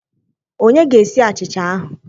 ònye gēsi achicha ahu?